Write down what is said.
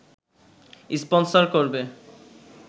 sponsor করবে